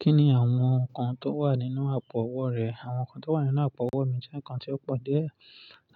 Kí ni àwọn nǹkan tó wà nínú àpò-ọwọ́ rẹ? Àwọn nǹkan tó wà nínú àpò-ọwọ́ mi jẹ́ nǹkan tí ó pọ̀ dé.